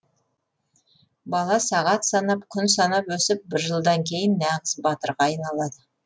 бала сағат санап күн санап өсіп бір жылдан кейін нағыз батырға айналады